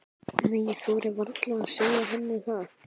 Nei, ég þori varla að segja henni það.